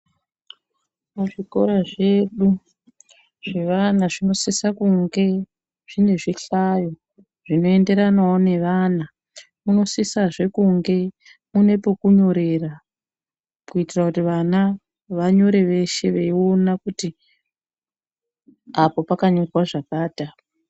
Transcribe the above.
Mu zvikora zvedu zve vana zvino sisa kunge zvine zvihlayo zvino enderanawo ne vana muno sisa zve kunge mune peku nyorera kuitira kuti vana va nyore veshe vei ona kuti apo paka nyorwa zvakati apo.